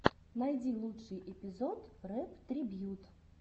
найди лучший эпизод рэп трибьют